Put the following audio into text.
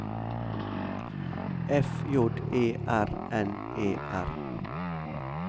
F J E R N E R